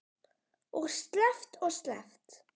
Og sleppt og sleppt.